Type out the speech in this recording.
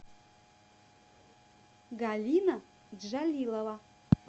галина джалилова